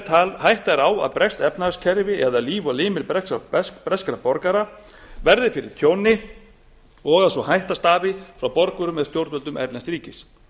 þegar hætta er á að breskt efnahagskerfi eða líf og limir breskra borgara verði fyrir tjóni og að sú hætta stafi frá borgurum með stjórnvöldum erlends ríkis